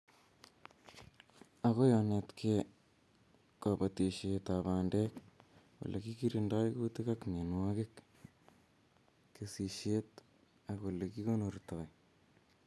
Agoi onetkei kobotishetab bandek, olekikirindotoi kuutik ak mienwokik, kesishet ak olekikonortoi